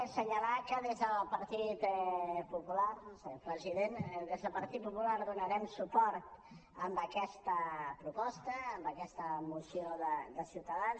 assenyalar que des del partit popular senyor president donarem suport a aquesta proposta a aquesta moció de ciutadans